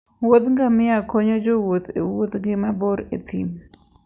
wuodh ngamia konyo jowuoth e wuodhgi mabor e thim.